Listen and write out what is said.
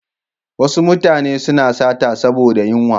Wasu mutane suna sata saboda yunwa.